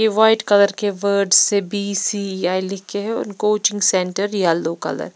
ये white colour के words से बी_सी_आई लिखके है कोचिंग सेंटर येलो कलर --